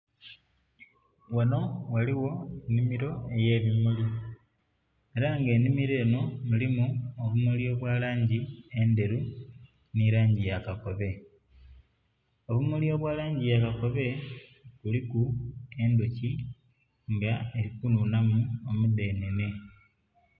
Ghanho ghaligho nnhimiro eyebimuli, era nga enhimiro eno mulimu ebimuli ebyalangi endheru nhe langi yakakobe. Obumuli obwalangi yakakobe buliku endhuki nga eri kunhunhamu omudhenhenhe.